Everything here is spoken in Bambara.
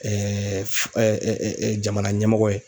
jamana ɲɛmɔgɔw ye.